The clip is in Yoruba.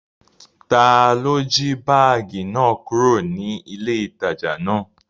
Taló jí báàgì náà kúrò ní ilé ìtajà náà?